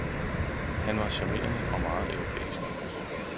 Han var charmerende og meget europæisk.